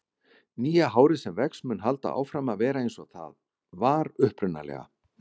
Nýja hárið sem vex mun halda áfram að vera eins og það var upprunalega.